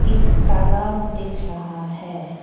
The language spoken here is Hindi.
एक तालाब दिख रहा है।